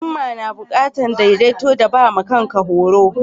Himma na bukatan daidaito da ba ma kan ka horo.